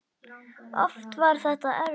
Oft var þetta erfitt.